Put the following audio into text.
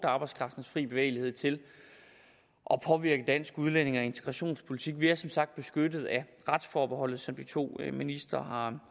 arbejdskraftens fri bevægelighed til at påvirke dansk udlændinge og integrationspolitik vi er som sagt beskyttet af retsforbeholdet sådan som de to ministre har